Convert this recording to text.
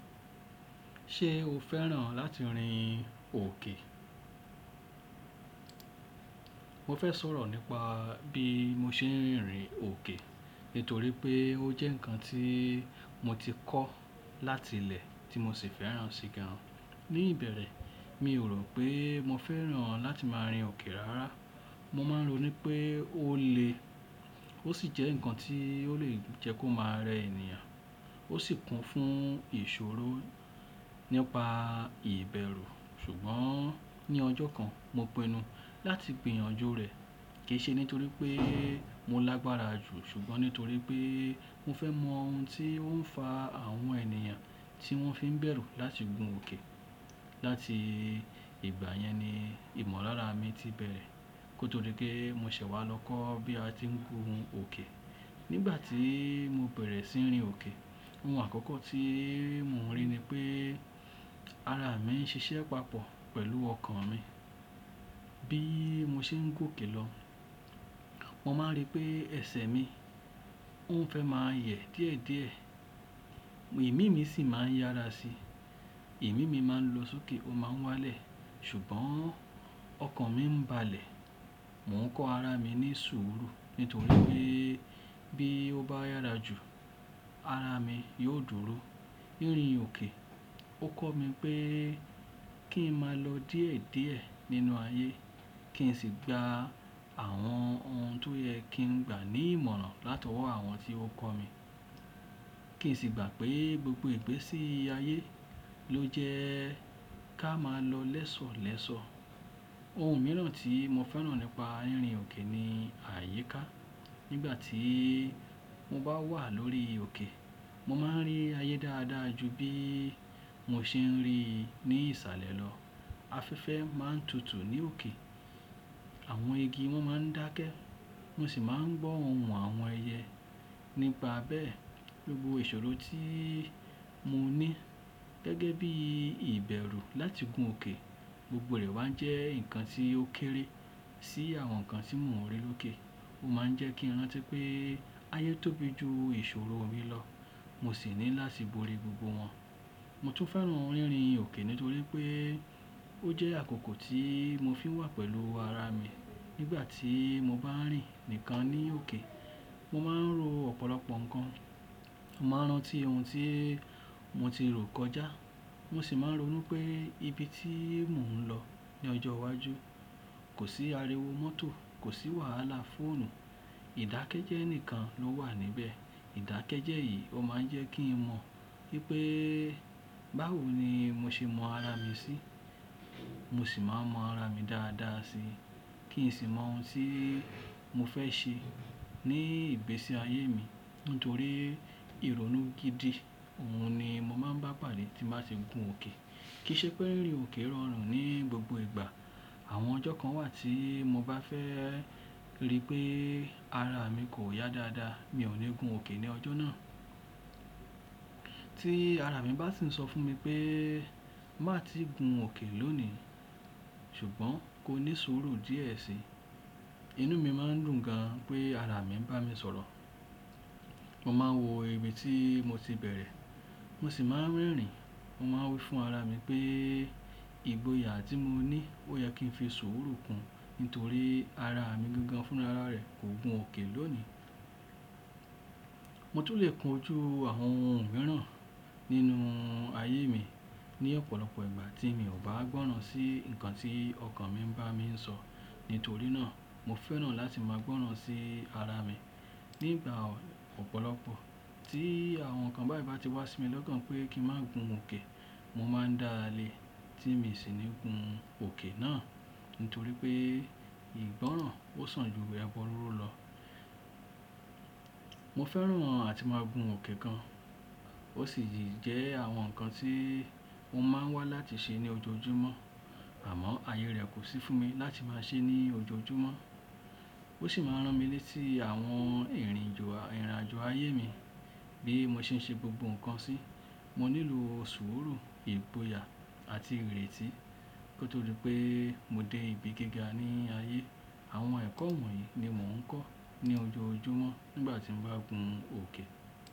Ṣé o fẹ́ràn láti rin òkè? Mo fẹ́ sọ̀rọ̀ nípa bí mo ṣe ń rin òkè nítorí pé ó jẹ́ ǹkan tí mo ti kọ́ láti ilé tí mo sì fẹ́ràn sí gan. Ní ìbẹ̀rẹ̀, mi ò rò pé mo fẹ́ràn láti máa rin òkè rárá. Mo máa ń ro ní pé ó le, ó sì jẹ́ ǹkan tí ó lè jẹ́ kó máa rẹ ènìyàn, ó sì kún fún ìṣòro nípa ìbẹ̀rù. Ṣùgbọ́n ní ọjọ́ kan, mo pinu láti gbìyànjú rẹ̀, kì í ṣe nítorí pé mo lágbára jù, ṣùgbọ́n nítorí pé mo fẹ́ mọ ohun tí ó ń fa àwọn ènìyàn tí wọ́n fi ń bẹ̀rù láti gun òkè. Láti ìgbà yẹn ni ìmọ̀lára mi ti bẹ̀rẹ̀ kó tó dí pé mo ṣẹ̀ wá lọ kọ́ bí a ti ń gun òkè. Nígbà tí mo bẹ̀rẹ̀ sí ní rin òkè, ohun àkọ́kọ́ tí mo rí ni pé ara mi ń ṣiṣẹ́ papọ̀ pẹ̀lú ọkàn mi. Bí mo ṣe ń gòkè lọ, mo máa ń rí pé ẹsẹ̀ mi ò ń fẹ́ máa yẹ̀ díẹ̀díẹ̀, ìmíì mi sì máa ń yára si. Ìmíì mi máa ń lo sókè ó máa ń wá lẹ̀, ṣùgbọ́n ọkàn mi ń ba lẹ̀. Mo ń kọ ara mi ní sùúrù nítorí pé bí ó bá yára jù, ara mi yóò dúró. Ní rin òkè, ó kọ́ mi pé kí n máa lọ díẹ̀díẹ̀ nínú ayé, kí n sì gba àwọn ohun tó yẹ kí n gbà ní ìmọ̀ràn látọwọ́ àwọn tí ó kọ́ mi. Kí n sì gbà pé gbogbo ìgbésí ayé ló jẹ́ ká máa lọ lẹ́sọ̀lẹ́sọ̀. Ohun mìíràn tí mo fẹ́ràn nípa rin òkè ni àyíká. Nígbà tí mo bá wà lórí òkè, mo máa ń rí ayé dáadáa ju bí mo ṣe ń rí i ní ìsàlẹ̀ lọ. Afẹ́fẹ́ máa ń tutù ní òkè, àwọn igi wọ́n máa ń dákẹ́, mo sì máa ń gbọ́ ohùn àwọn ẹyẹ. Nípa bẹ́ẹ̀, gbogbo ìṣòro tí mo ní gẹ́gẹ́ bí ìbẹ̀rù láti gun òkè gbogbo rẹ̀ wá ń jẹ́ ǹkan tí ó kéré sí àwọn ǹkan tí mo ń rí lókè. Ó máa ń jẹ́ kí n rántí pé ayé tóbi ju ìṣòro mi lọ, mo sì ní láti borí gbogbo wọn. Mo tún fẹ́ràn rínrin òkè nítorí pé ó jẹ́ àkókò tí mo fi ń wà pẹ̀lú ara mi. Nígbà tí mo bá rìn nìkan ní òkè, mo máa ń ro ọ̀pọ̀lọpọ̀ ǹkan, màá rántí ohun tí mo ti rò kọjá, mo sì máa ń ro nú pé ibi tí mò ń lọ ní ọjọ́ iwájú. Kò sí ariwo mọ́tò, kò sí wàhálà fóònù, ìdákẹ́jẹ́ ni kan ló wà níbẹ̀. Ìdákẹ́jẹ́ yìí ó máa ń jẹ́ kí n mọ̀ wípé báwo ni mo ṣe mọ ara mi sí, mo sì máa ń mọ ara mi dáadáa si. Kí n sì mọ ohun tí mo fẹ́ ṣe ní ìgbésí ayé mi nítorí ìrònú gidi, òhun ni mo máa ń bá pàdé tí màá ti gun òkè. Kì í ṣe pé rin òkè rọrùn ní gbogbo ìgbà. Àwọn ọjọ́ kan wà tí mo bá fẹ́ rí pé ara mi kò yá dáadáa, mi ò ní gun òkè ní ọjọ́ náà. Tí ara mi bá ti ń sọ fún mi pé màá tí gun òkè lónìí ṣùgbọ́n kó ní sùúrù díẹ̀ síi, inú mi máa ń dùn gan pé ara mi ń bá mi sọ̀rọ̀. Mo máa ń wo ibi tí mo ti bẹ̀rẹ̀, mo sì máa ń rerìn. Mo máa ń wí fún ara mi pé ìgboyà tí mo ní ó yẹ kí n fi sùúrù kún nítorí ara mi gangan fúnra rẹ̀ kò gun òkè lónìí. Mo tún lè kun ojú àwọn ohun mìíràn nínú ayé mi ní ọ̀pọ̀lọpọ̀ ìgbà tí mi ò bá gbọ́ràn sí nǹkan tí ọkàn mi ń bá mi sọ. Nítorí náà mo fẹ́ràn láti máa gbọ́ràn sí ara mi. Nígbà ọ̀pọ̀lọpọ̀ tí àwọn ǹkan báyìí bá ti wá sí mi lọ́gán pé kí n má gun òkè, mo máa ń dáa lé tí mi sì ní gun òkè náà nítorí pé ìgbọ́ràn ó sàn ju ẹbọ rúru lọ. Mo fẹ́ràn àti máa gun òkè gan, ó sì jẹ́ àwọn ǹkan tí mo máa ń wá láti ṣe ní ojoojúmọ́, àmọ́ ayé rẹ̀ kò sí fún mi láti máa ṣe é ní ojoojúmọ́. Ó sì máa ń rán mi létí àwọn ìrìnàjò ayé mi bí mo ṣe ń ṣe gbogbo ǹkan sí. Mo nílò sùúrù, ìgboyà àti ìrètí kó tó dí pé mo dé ibi gíga ní ayé. Àwọn ẹ̀kọ́ ìmọ̀ yìí ni mò ń kọ́ ní ojoojúmọ́ nígbà tí mo bá gun òkè.